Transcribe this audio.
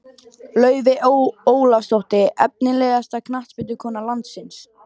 Laufey Ólafsdóttir Efnilegasta knattspyrnukona landsins?